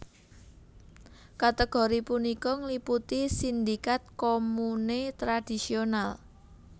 Kategori punika ngliputi sindikat komune tradisional